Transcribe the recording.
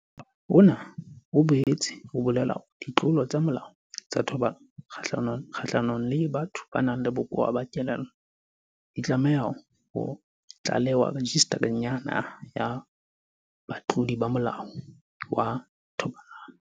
Molao ona o boetse o bolela hore ditlolo tsa molao tsa thobalano kgahlanong le batho ba nang le bokowa ba kelello di tlameha ho tlalewa Rejistareng ya Naha ya Batlodi ba Molao wa Thobalano.